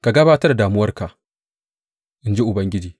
Ka gabatar da damuwarka, in ji Ubangiji.